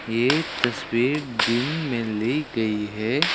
ये तस्वीर दिन में ली गई है।